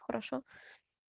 хорошо